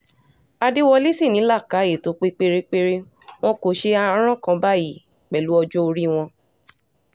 àdẹwọlẹ̀ sì ni làákàyè tó pé pérépéré wọn kò ṣe aràn kan báyìí pẹ̀lú ọjọ́ orí wọn